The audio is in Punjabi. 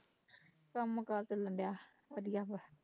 ਕੰਮ ਕਾਰ ਚੱਲਣ ਡਿਆ ਵਧੀਆ ਵਾ